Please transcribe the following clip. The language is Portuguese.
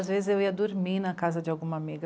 Às vezes eu ia dormir na casa de alguma amiga.